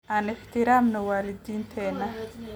Aan ixtiraamno waalidiinteena